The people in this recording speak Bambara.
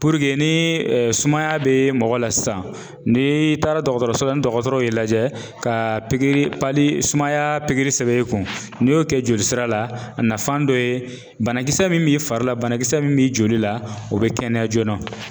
ni ee sumaya be mɔgɔ la sisan, ni taara dɔgɔtɔrɔso la ni dɔgɔtɔrɔw ye lajɛ ka sumaya pikiri sɛbɛn i kun . N'i y'o kɛ joli sira la a nafan dɔ ye banakisɛ min b'i fari la banakisɛ min b'i joli la, o be kɛnɛya joona.